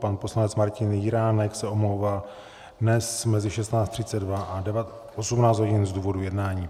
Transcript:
Pan poslanec Martin Jiránek se omlouvá dnes mezi 16.32 až 18 hodin z důvodu jednání.